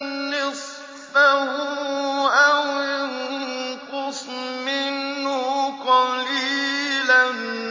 نِّصْفَهُ أَوِ انقُصْ مِنْهُ قَلِيلًا